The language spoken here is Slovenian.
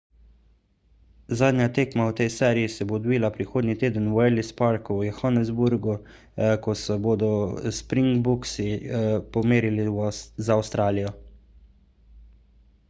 zadnja tekma v tej seriji se bo odvila prihodnji teden v ellis parku v johannesburgu ko se bodo springboksi pomerili z avstralijo